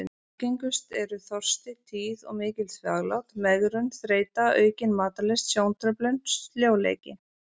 Algengust eru: þorsti, tíð og mikil þvaglát, megrun, þreyta, aukin matarlyst, sjóntruflun, sljóleiki.